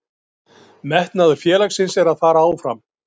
Malín, hvernig verður veðrið á morgun?